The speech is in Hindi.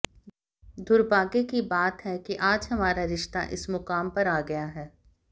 दुर्भाग्य की बात है कि आज हमारा रिश्ता इस मुकाम पर आ गया है